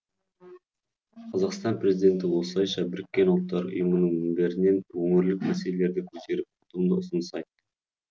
қазақстан президенті осылайша біріккен ұлттар ұұйымының мінберінен өңірлік мәселелерді көтеріп ұтымды ұсыныс айтты